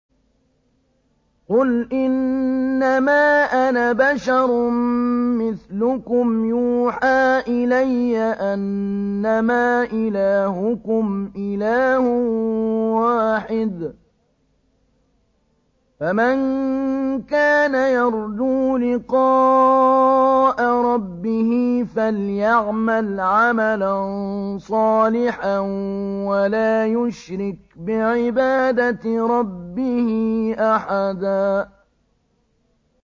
قُلْ إِنَّمَا أَنَا بَشَرٌ مِّثْلُكُمْ يُوحَىٰ إِلَيَّ أَنَّمَا إِلَٰهُكُمْ إِلَٰهٌ وَاحِدٌ ۖ فَمَن كَانَ يَرْجُو لِقَاءَ رَبِّهِ فَلْيَعْمَلْ عَمَلًا صَالِحًا وَلَا يُشْرِكْ بِعِبَادَةِ رَبِّهِ أَحَدًا